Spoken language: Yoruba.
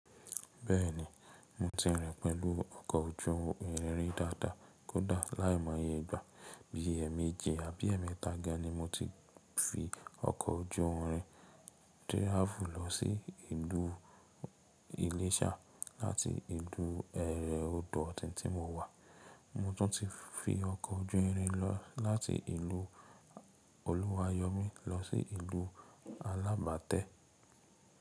Bẹ́ẹ̀ni, mo ti rìn pẹ̀lú ọkọ̀ ojú irin dáadáa. Kódà láìmọye ìgbà bí ẹẹ̀mẹ́ji àbí ẹẹ̀mẹ́ta ga ni mo ti fi ọkọ̀ ojú irin tráàfù lọ sí ìlú Ìléṣà láti ìlú Èrè Ọ̀dọ̀ tí mo wà. Mo tún ti fi ọkọ̀ ojú irin lọ láti ìlú Ọ̀luwàyọ́mi lọ sí ìlú Alábátẹ́.